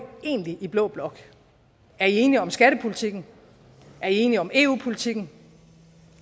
egentlig i blå blok er i enige om skattepolitikken er i enige om eu politikken